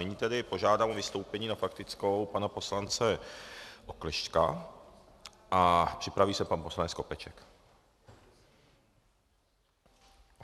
Nyní tedy požádám o vystoupení na faktickou pana poslance Oklešťka a připraví se pan poslanec Skopeček.